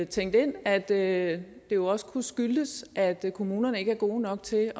tænkt ind at det jo også kunne skyldes at kommunerne ikke er gode nok til